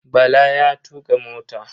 Bala ya tuƙa mota.